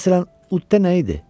Məsələn, Udda nə idi?